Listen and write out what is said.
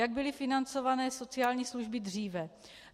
Jak byly financovány sociální služby dříve?